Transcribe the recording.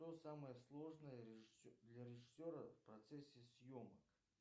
что самое сложное для режиссера в процессе съемок